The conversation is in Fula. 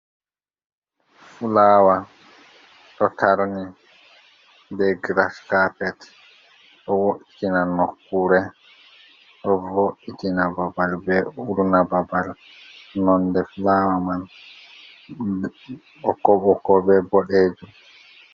fulawa to tarni be gras carpet do vo'itina nokure vo'itina babal be uruna babal nonde flawa man boko boko be bodejo.